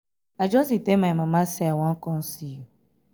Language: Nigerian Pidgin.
i just dey tell my my mama say i wan come see you